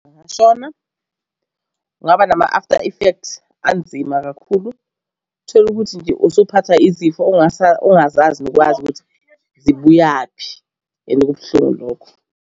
Sona kungaba nama-after affect anzima kakhulu. Tholukuthi nje usuphathwa izifo ongazazi nokwazi ukuthi zibuyaphi and kubuhlungu lokho.